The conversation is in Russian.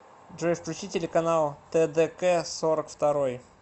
джой включи телеканал тэ дэ кэ сорок второй